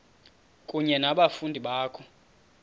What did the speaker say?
kunye nabafundi bakho